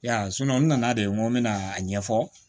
Ya n nana de n ko n bɛna a ɲɛfɔ